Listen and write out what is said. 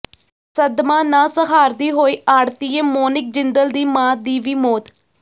ਸਦਮਾ ਨਾ ਸਹਾਰਦੀ ਹੋਈ ਆੜ੍ਹਤੀਏ ਮੋਨਿਕ ਜਿੰਦਲ ਦੀ ਮਾਂ ਦੀ ਵੀ ਮੌਤ